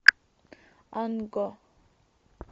анго